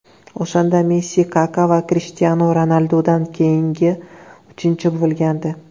O‘shanda Messi Kaka va Krishtianu Ronaldudan keyin uchinchi bo‘lgandi.